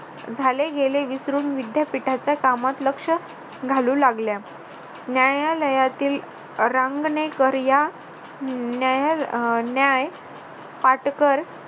झाले गेले विसरून विद्यापीठाच्या कामात लक्ष घालू लागल्या न्यायालयातील रांगणेकर या न्याय पाटकर